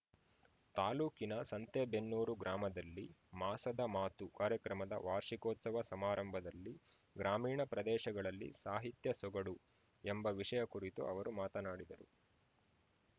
ತಾಲೂಕಿನ ಸಂತೆಬೆನ್ನೂರು ಗ್ರಾಮದಲ್ಲಿ ಮಾಸದಮಾತು ಕಾರ್ಯಕ್ರಮದ ವಾರ್ಷಿಕೋತ್ಸವ ಸಮಾರಂಭದಲ್ಲಿ ಗ್ರಾಮೀಣ ಪ್ರದೇಶಗಳಲ್ಲಿ ಸಾಹಿತ್ಯ ಸೂಗಡು ಎಂಬ ವಿಷಯ ಕುರಿತು ಅವರು ಮಾತನಾಡಿದರು